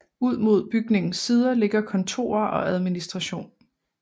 Ud mod bygningens sider ligger kontorer og administration